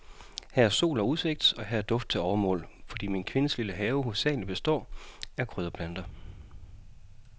Her er sol og udsigt, og her er duft til overmål, fordi min kvindes lille have hovedsagelig består af krydderplanter.